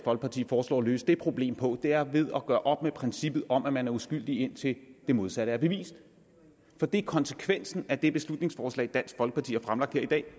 folkeparti foreslår at løse det problem på er ved at gøre op med princippet om at man er uskyldig indtil det modsatte er bevist for det er konsekvensen af det beslutningsforslag som dansk folkeparti har fremlagt her i dag